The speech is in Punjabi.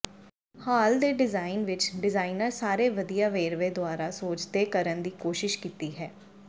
ਹਾਲ ਦੇ ਡਿਜ਼ਾਇਨ ਵਿੱਚ ਡਿਜ਼ਾਇਨਰ ਸਾਰੇ ਵਧੀਆ ਵੇਰਵੇ ਦੁਆਰਾ ਸੋਚਦੇ ਕਰਨ ਦੀ ਕੋਸ਼ਿਸ਼ ਕੀਤੀ ਹੈ